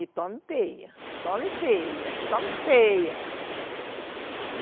E toma e pêia, toma e pêia, toma e pêia.